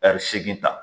Ɛri segin ta